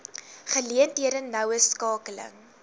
geleenthede noue skakeling